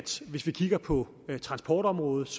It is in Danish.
hvis vi kigger på transportområdet